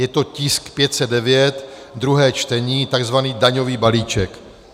Je to tisk 509, druhé čtení, tzv. daňový balíček.